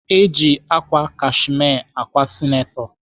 Eji ákwà kashme ákwà sineto.